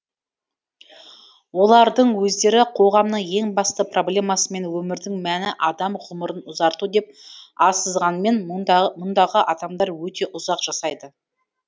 олардың өздері қоғамның ең басты проблемасымен өмірдің мәні адам ғұмырын ұзарту деп азсынғанмен мұндағы адамдар өте ұзақ жасайды